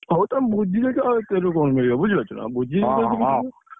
ହଉ,, ତମେ ବୁଝି ଦେଇଛ, ଆଉ ଏତେ କଥାରୁ କଣ ମିଳିବ? ବୁଝି ପାରୁଛନା?